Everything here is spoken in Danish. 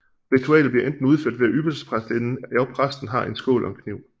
Ritualet bliver enten udført ved at ypperstepræstinden og præsten har en skål og en kniv